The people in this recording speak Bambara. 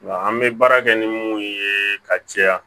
Nka an bɛ baara kɛ ni mun ye ka caya